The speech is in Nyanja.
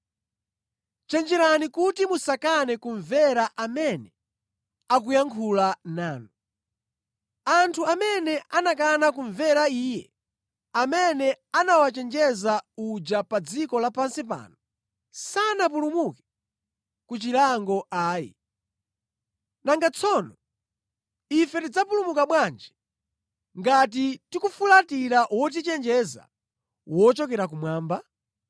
Chenjerani kuti musakane kumvera amene akuyankhula nanu. Anthu amene anakana kumvera iye amene anawachenjeza uja pa dziko lapansi pano, sanapulumuke ku chilango ayi, nanga tsono ife tidzapulumuka bwanji ngati tikufulatira wotichenjeza wochokera kumwamba?